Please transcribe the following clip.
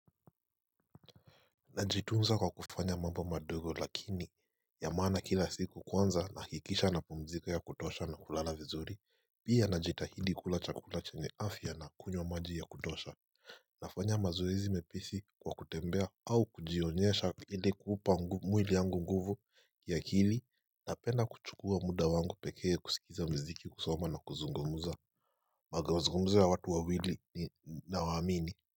Najitunza kwa kufanya mambo madogo lakini ya maana kila siku. Kwanza nahakikisha napumzika ya kutosha na kulala vizuri pia najitahidi kula chakula chenye afya na kunywa maji ya kutosha Nafanya mazoezi mepesi kwa kutembea au kujionyesha ili kupa mwili yangu nguvu ya akili. Napenda kuchukua muda wangu pekee kusikiliza muziki, kusoma na kuzungumza huwanga nazungumza na watu wawili naoamini.